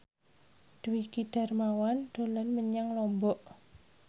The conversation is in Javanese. Dwiki Darmawan dolan menyang Lombok